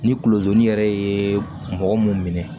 Ni kulozon yɛrɛ ye mɔgɔ mun minɛ